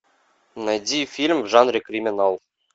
найди фильм в жанре криминал